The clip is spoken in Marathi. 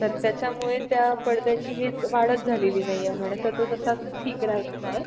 खूपच उजळले आहे. आजही भारत संघ hockey मध्ये अव्वल आहे. भारतात हे वातावरण टिकवायचे आहे.